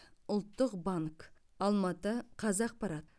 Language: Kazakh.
ұлттық банк алматы қазақпарат